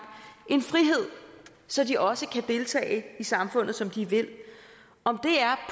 en frihed så de også kan deltage i samfundet som de vil om det er